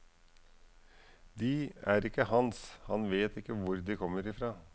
De er ikke hans, han vet ikke hvor de kommer fra.